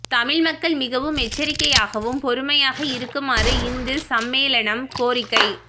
தமிழ் மக்கள் மிகவும் எச்சரிக்கையாகவும் பொறுமையாக இருக்குமாறு இந்து சம்மேளனம் கோரிக்கை